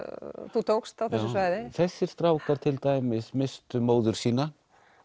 þú tókst á þessu svæði já þessir strákar til dæmis misstu móður sína